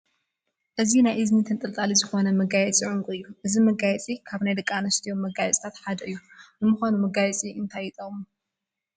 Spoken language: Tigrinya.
እዚ ናይ እዝኒ ተንጠልጣሊ ዝኾነ መጋየፂ ዑንቂ እዩ፡፡ እዚ መጋየፂ ካብ ናይ ደቂ ኣንስትዮ መጋየፅታት ሓደ እዩ፡፡ ንምዃኑ መጋየፂ እንታይ ይጠቅም?